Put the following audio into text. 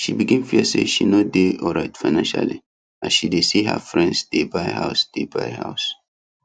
she begin fear say she no dey alright financially as she see her friends dey buy house dey buy house